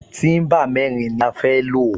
Tíḿbà mẹ́rin ni a fẹ́ lò